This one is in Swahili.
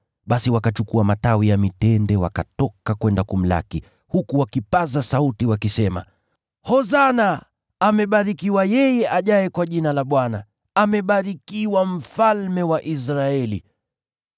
Basi wakachukua matawi ya mitende, wakatoka kwenda kumlaki, huku wakipaza sauti wakisema, “Hosana!” “Amebarikiwa yeye ajaye kwa Jina la Bwana!” “Amebarikiwa Mfalme wa Israeli!”